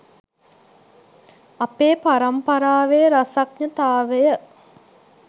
අපේ පරම්පරාවේ රසඥතාවය